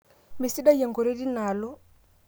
mesidai enkoitoi teinaalo